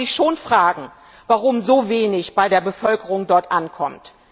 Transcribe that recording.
Da muss man sich schon fragen, warum so wenig bei der Bevölkerung dort ankommt.